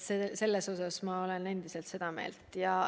Ja ma olen endiselt seda meelt.